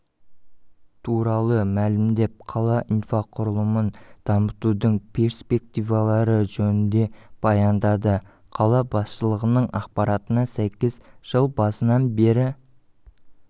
туралы мәлімдеп қала инфрақұрылымын дамытудың перспективалары жөнінде баяндады қала басшылығының ақпаратына сәйкес жыл басынан бері